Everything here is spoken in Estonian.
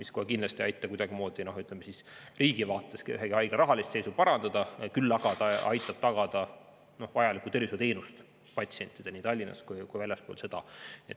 See kohe kindlasti ei aita riigi vaates kuidagimoodi, ütleme, ühegi haigla rahalist seisu parandada, küll aga aitab tagada vajaliku tervishoiuteenuse patsientidele nii Tallinnas kui ka väljaspool seda.